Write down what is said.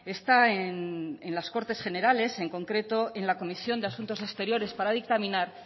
está en las cortes generales en concreto en la comisión de asuntos exteriores para dictaminar